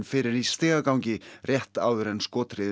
fyrir í stigagangi rétt áður en